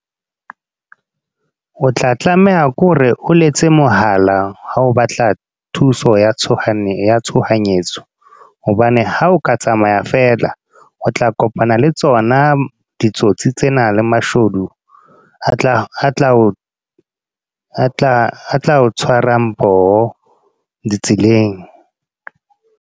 O tla tlameha ke hore o letse mohala, ha o batla thuso ya tshohanyetso tshohanyetso. Hobane ha o ka tsamaya feela, o tla kopana le tsona ditsotsi tsena le mashodu. A tla o tshwarang poho ditseleng.